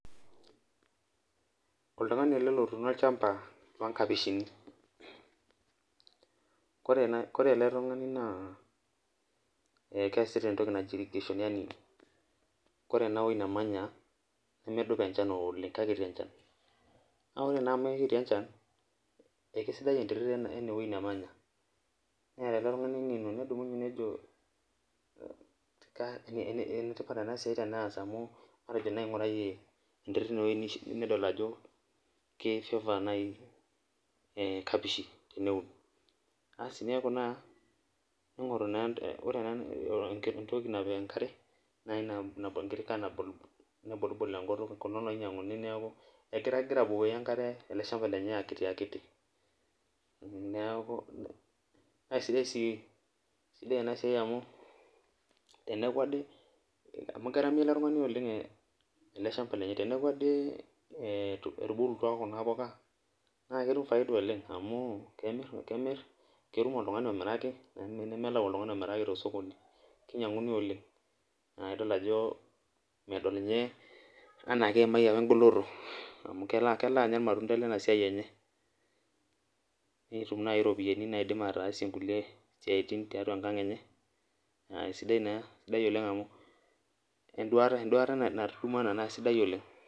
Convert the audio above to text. Oltungani ele otuuno olchampa loonkapishini ,ore ele tungani naa keesitae entoki naji irrigation, ore eneweji nemanya nemedupa enchan oleng eikiti enchan ,kake ore naa amu ekiti enchan, naa keisidai enterit eneweji nemanya ,neeta ele tungani engeno nedumunye nejo enetipat ena siai ,amu elelek matejo naaji einguarayie enterit ineweji nedol ajoki keifavour naaji nkapishi teneun. neeku naa entoki napik enkare nebolibol enkutuk, egira abukoki ele shampa lenye enkare akitiakiti ,naa sidai near siai amu teku ade amu ketamiyo ele tungani ele shampa lenye ,teneeku ade atubulutua Kuna puka naa ketum faida oleng amu kemir, ketum oltungani omirake melau oltungani omiraki tosokoni keinyanguni oleng, naa idol ajo medol ninye anaa kaimayie pee engoloto amu kelo naaji anya iramtunda lena siai enye ,netum naaji nkulie ropiyiani naatum ataasie nkulie siatin tiatua enkang enye naa sidai naa oleng amu enduata naturumuo ena naa sidai oleng.